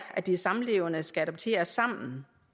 at de samlevende skal adoptere sammen